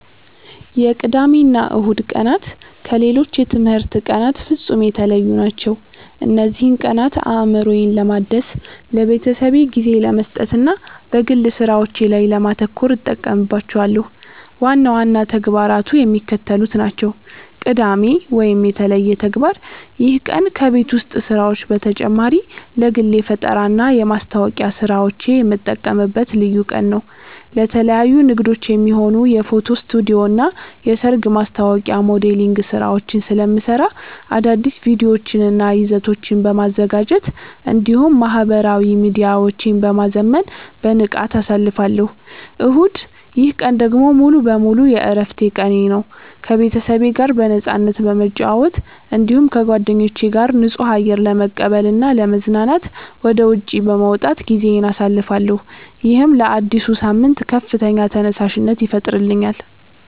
የቅዳሜና እሁድ ቀናት ከሌሎች የትምህርት ቀናት ፍጹም የተለዩ ናቸው። እነዚህን ቀናት አእምሮዬን ለማደስ፣ ለቤተሰቤ ጊዜ ለመስጠትና በግል ሥራዎቼ ላይ ለማተኮር እጠቀምባቸዋለሁ። ዋና ዋና ተግባራቱ የሚከተሉት ናቸው፦ ቅዳሜ (የተለየ ተግባር)፦ ይህ ቀን ከቤት ውስጥ ሥራዎች በተጨማሪ ለግል የፈጠራና የማስታወቂያ ሥራዎቼ የምጠቀምበት ልዩ ቀን ነው። ለተለያዩ ንግዶች የሚሆኑ የፎቶ ስቱዲዮና የሰርግ ማስታወቂያ ሞዴሊንግ ሥራዎችን ስለምሠራ፣ አዳዲስ ቪዲዮዎችንና ይዘቶችን በማዘጋጀት እንዲሁም ማኅበራዊ ሚዲያዎቼን በማዘመን በንቃት አሳልፋለሁ። እሁድ፦ ይህ ቀን ደግሞ ሙሉ በሙሉ የዕረፍት ቀኔ ነው። ከቤተሰቤ ጋር በነፃነት በመጨዋወት፣ እንዲሁም ከጓደኞቼ ጋር ንጹህ አየር ለመቀበልና ለመዝናናት ወደ ውጪ በመውጣት ጊዜዬን አሳልፋለሁ። ይህም ለአዲሱ ሳምንት ከፍተኛ ተነሳሽነት ይፈጥርልኛል።